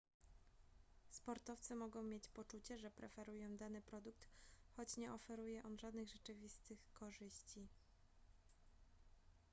sportowcy mogą mieć poczucie że preferują dany produkt choć nie oferuje on żadnych rzeczywistych korzyści